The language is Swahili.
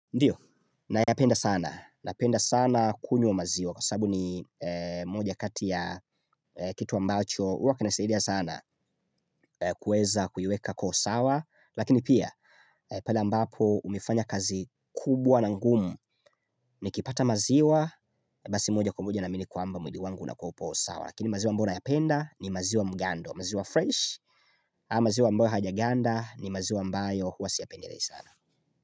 Ndio, nayapenda sana, napenda sana kunywa maziwa, kwa sababu ni moja kati ya kitu ambacho, huwa kinasaidia sana kuweza kuiweka kwa usawa, lakini pia, pale ambapo umefanya kazi kubwa na ngumu, nikipata maziwa, basi moja kwa moja naamini kwamba mwili wangu unakua hupo sawa. Lakini maziwa ambayo nayapenda ni maziwa mgando, maziwa fresh, ama maziwa amboyo hayajaganda ni maziwa ambayo huwa siyapendelei sana.